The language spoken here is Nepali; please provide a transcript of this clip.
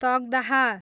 तकदाह